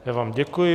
Já vám děkuji.